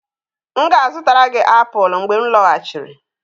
M ga-azụtara gị apụl mgbe m lọghachiri.